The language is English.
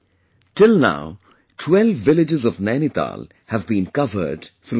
Till now 12 villages of Nainital have been covered through this